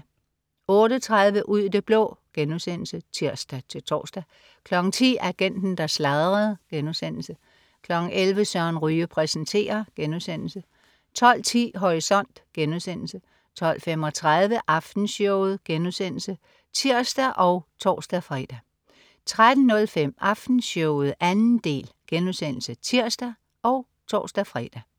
08.30 Ud i det blå* (tirs-tors) 10.00 Agenten, der sladrede* 11.00 Søren Ryge præsenterer* 12.10 Horisont* 12.35 Aftenshowet* (tirs og tors-fre) 13.05 Aftenshowet 2. del* (tirs og tors-fre)